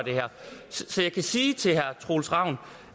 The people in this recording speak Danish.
så jeg kan sige til herre troels ravn